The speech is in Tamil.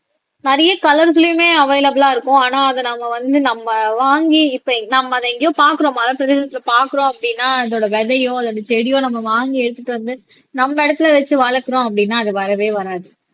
நிறைய கலர்களையுமே அவைலபிளா இருக்கும் ஆனா அதை நாம வந்து நம்ம வாங்கி இப்ப நம்ம அதை எங்கேயோ பார்க்கிறோம் மலைப்பிரதேசத்திலே பார்க்கிறோம் அப்படின்னா அதோட விதையோ அல்லது செடியோ நம்ம வாங்கி எடுத்துட்டு வந்து நம்ம இடத்திலே வச்சு வளர்க்கிறோம் அப்படின்னா அது வரவே வராது